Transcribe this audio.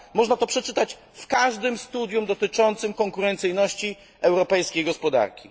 2 Można o tym przeczytać w każdym studium dotyczącym konkurencyjności europejskiej gospodarki.